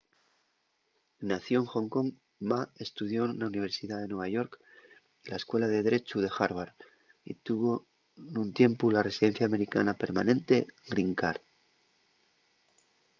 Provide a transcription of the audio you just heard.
nacíu en hong kong ma estudió na universidá de nueva york y la escuela de drechu de harvard y tuvo nun tiempu la residencia americana permanente green card